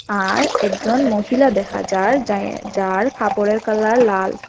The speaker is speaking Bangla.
আর একজন মহিলা দেখা যার যা যার কাপড়ের কালার লাল।